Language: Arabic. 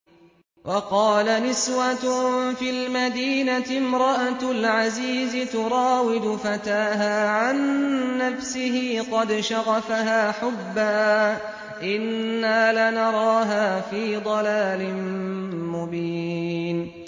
۞ وَقَالَ نِسْوَةٌ فِي الْمَدِينَةِ امْرَأَتُ الْعَزِيزِ تُرَاوِدُ فَتَاهَا عَن نَّفْسِهِ ۖ قَدْ شَغَفَهَا حُبًّا ۖ إِنَّا لَنَرَاهَا فِي ضَلَالٍ مُّبِينٍ